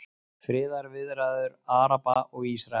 Friðarviðræður Araba og Ísraela